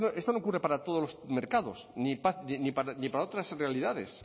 esto no ocurre para todos los mercados ni para otras realidades